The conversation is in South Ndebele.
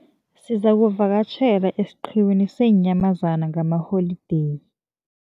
Sizakuvakatjhela esiqhiwini seenyamazana ngalamaholideyi.